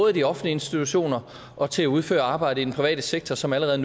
i de offentlige institutioner og til at udføre arbejdet i den private sektor som allerede